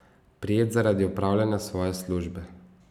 Prijet zaradi opravljanja svoje službe.